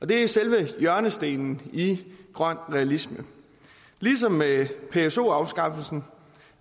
det er selve hjørnestenen i grøn realisme ligesom med pso afskaffelsen